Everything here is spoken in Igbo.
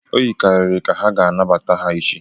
O yikarịrị ka ha ga-anabata ha echi.